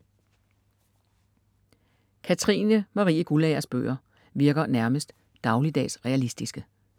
Katrines Marie Guldagers bøger virker nærmest dagligdags realistiske.